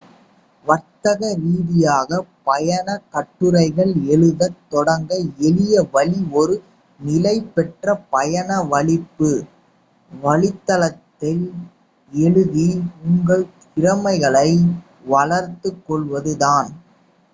வர்த்தக ரீதியாக பயணக் கட்டுரைகள் எழுதத் தொடங்க எளிய வழி ஒரு நிலை பெற்ற பயண வலைப்பூ வலைத்தளத்தில் எழுதி உங்கள் திறமைகளைப் வளர்த்துக் கொள்வது தான்